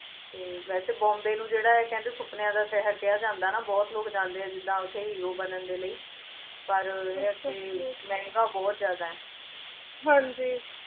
ਤੇ ਵੇਸੇ ਬੋਮਾਬ੍ਯ ਨੂ ਕੇਹ੍ਨ੍ਡੇ ਆਯ ਸੁਪ੍ਨ੍ਯਾਂ ਦਾ ਸ਼ੇਹਰ ਕੇਹਾ ਜਾਂਦਾ ਆਯ ਨਾ ਬੋਹਤ ਲੋਗ ਜਾਂਦੇ ਆ ਜਿਦਾਂ ਓਥੇ ਹੇਰੋ ਬਣਨ ਦੇ ਲੈ ਪਰ ਈਯ ਕੇ ਮੇਹ੍ਨ੍ਗਾ ਬੋਹਤ ਜਿਆਦਾ ਆਯ ਹਾਂਜੀ